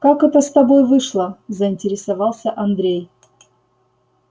как это с тобой вышло заинтересовался андрей